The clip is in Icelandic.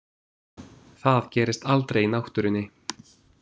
Það gerist aldrei í náttúrunni.